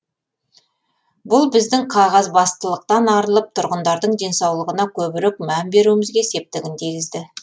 бұл біздің қағазбастылықтан арылып тұрғындардың денсаулығына көбірек мән беруімізге септігін тигізді